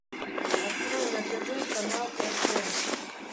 открой на тв канал рт